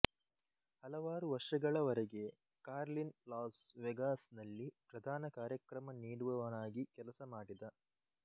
ಹಲವಾರು ವರ್ಷಗಳ ವರೆಗೆ ಕಾರ್ಲಿನ್ ಲಾಸ್ ವೆಗಾಸ್ ನಲ್ಲಿ ಪ್ರಧಾನ ಕಾರ್ಯಕ್ರಮ ನೀಡುವವನಾಗಿ ಕೆಲಸ ಮಾಡಿದ